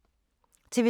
TV 2